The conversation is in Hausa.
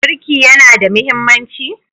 Birki yana da mahimmanci?